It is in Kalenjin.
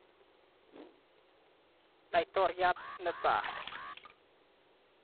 Laitoriat ne tai.